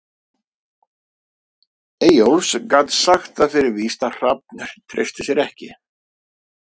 Eyjólfs, gat sagt það fyrir víst að Hrafn treysti sér ekki.